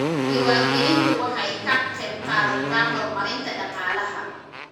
Diiwaangelintu waxay ka qaybqaadataa horumarinta dhaqaalaha.